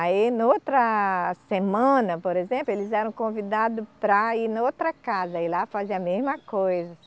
Aí, em outra semana, por exemplo, eles eram convidados para ir em outra casa e lá fazia a mesma coisa.